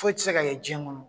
Foyi tɛ se ka ɲɛ diɲɛ kɔnɔ.